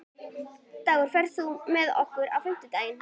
Dagur, ferð þú með okkur á fimmtudaginn?